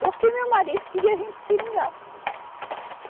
Porque meu marido queria vir para o Seringal.